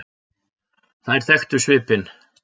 Þær þekktu svipinn.